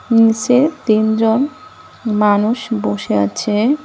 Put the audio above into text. নিচে তিনজন মানুষ বসে আছে।